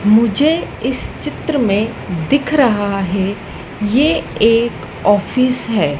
मुझे इस चित्र में दिख रहा हैं ये एक ऑफिस हैं।